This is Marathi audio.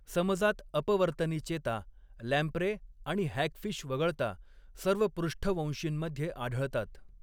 समजात अपवर्तनी चेता, लॅम्प्रे आणि हॅगफिश वगळता सर्व पृष्ठवंशींमध्ये आढळतात.